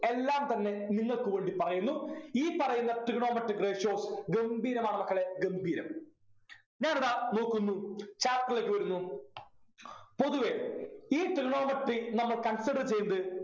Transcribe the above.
എല്ലാം തന്നെ നിങ്ങൾക്ക് വേണ്ടി പറയുന്നു ഈ പറയുന്ന trigonometric ratios ഗംഭീരമാണ് മക്കളെ ഗംഭീരം ഞാനിതാ നോക്കുന്നു chapter ലേക്ക് വരുന്നു പൊതുവെ ഈ trigonometry നമ്മൾ consider ചെയ്യുന്നത്